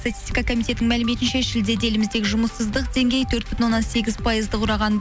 статистика коммитетінің мәліметінше шілдеде елімізде жұмыссыздық деңгейі төрт бүтін оннан сегіз пайызды құраған